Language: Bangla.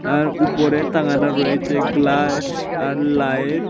আর উপরে তাঙানো রয়েছে গ্লাস্ আর লাইত ।